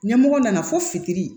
Ɲɛmɔgɔ nana fo fitiri